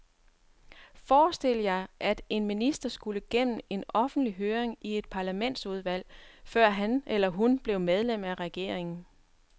Forestil jer, at en minister skulle gennem en offentlig høring i et parlamentsudvalg, før han eller hun blev medlem af regeringen.